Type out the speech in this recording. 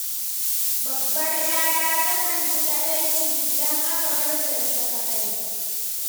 Babbar 'yarta takan ji kaɗaici, idan aka bar ta ita kaɗai.